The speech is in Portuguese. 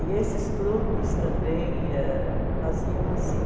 E esses clubes também ãh faziam assim.